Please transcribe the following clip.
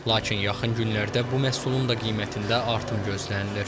Lakin yaxın günlərdə bu məhsulun da qiymətində artım gözlənilir.